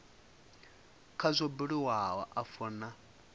kha zwo buliwaho afho nha